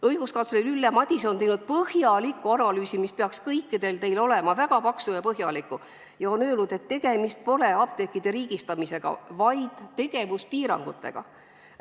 Õiguskantsler Ülle Madise on teinud põhjaliku analüüsi, mis peaks kõikidel teil olemas olema – väga paksu ja põhjaliku –, ja on öelnud, et tegemist pole apteekide riigistamisega, vaid tegevuspiirangute kehtestamisega.